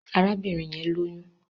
Arábìnrin yẹn lóyún